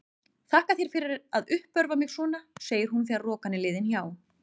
Þakka þér fyrir að uppörva mig svona, segir hún þegar rokan er liðin hjá.